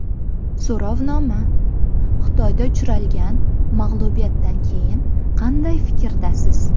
So‘rovnoma: Xitoydan uchralgan mag‘lubiyatdan keyin qanday fikrdasiz?.